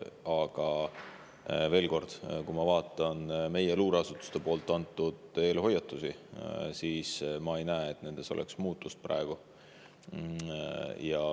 Aga veel kord: kui ma vaatan meie luureasutuste antud eelhoiatusi, siis ma ei näe nendes praegu muutust.